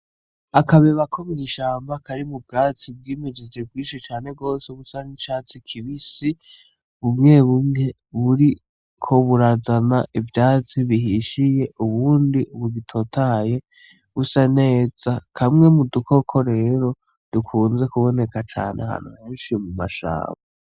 Akabeba ko mw’ishamba karimwo ubwatsi bwimejeje bwinshi cane gose busa n’icatsi kibisi , bumwe bumwe buriko burazana ivyatsi bihishiye Ubundi bugitotahaye busa neza , kameze mu dukoko rero dukunze kuboneka cane ahantu henshi mu mashamba.